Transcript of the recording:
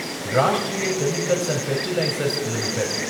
Rashtriya chemicals and fertilisers limited